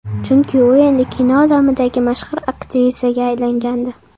Chunki u endi kino olamidagi mashhur aktrisaga aylangandi.